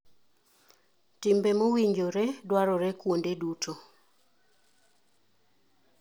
Timbe mowinjore dwarore kuonde duto.